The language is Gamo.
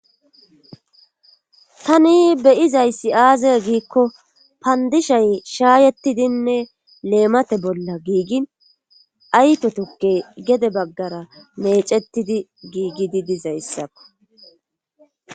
Tani beyizayssi aaze giikko paandishay shaayettidinne leemate bolla giigin ayto tukke gede baggara meecettidi giigidi dizayssakko.